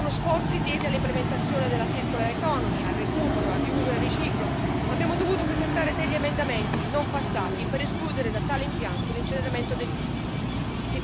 Emergono sforzi tesi all'implementazione dell'economia circolare, al recupero, al riuso e al riciclo, ma abbiamo dovuto presentare degli emendamenti non passati per escludere da tale impianto l'incenerimento dei rifiuti.